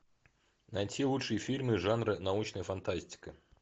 найти лучшие фильмы жанра научная фантастика